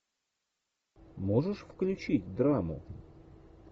можешь включить драму